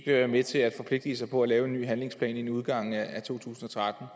være med til at forpligte sig på at lave en ny handlingsplan inden udgangen af to tusind og tretten